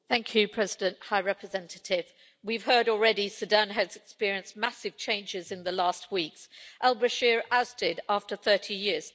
Mr President, High Representative, we've heard already Sudan has experienced massive changes in the last weeks Al Bashir ousted after 30 years